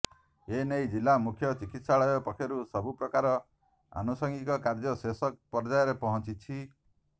ଏନେଇ ଜିଲ୍ଳା ମୁଖ୍ୟ ଚିକିତ୍ସାଳୟ ପକ୍ଷରୁ ସବୁପ୍ରକାର ଆନୁସଙ୍ଗିକ କାର୍ଯ୍ୟ ଶେଷ ପର୍ଯ୍ୟାୟରେ ପହଂଚିଛି